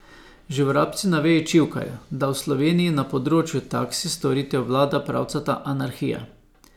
Že vrabci na veji čivkajo, da v Sloveniji na področju taksi storitev vlada pravcata anarhija.